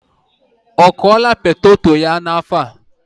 Ọ kụla poteto ya n'afo a?